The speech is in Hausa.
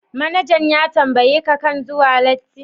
Manajan ya tambaye ka akan zuwan latti?